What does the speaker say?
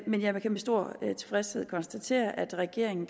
men jeg kan med stor tilfredshed konstatere at regeringen